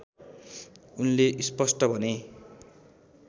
उनले स्पष्ट भने